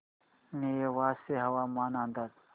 नेवासे हवामान अंदाज